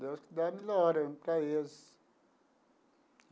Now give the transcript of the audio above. Deus que dá a melhora para eles.